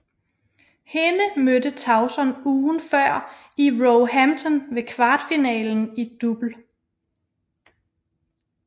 Hende mødte Tauson ugen før i Roehampton ved kvartfinalen i double